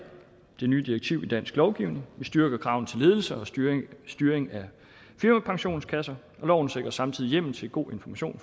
det nye direktiv i dansk lovgivning og vi styrker kravet til ledelse og styring styring af firmapensionskasser loven sikrer samtidig hjemmel til god information